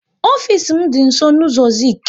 Ofisi m dị nsọ n' ụzọ Zik